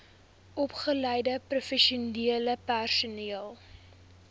opgeleide professionele personeel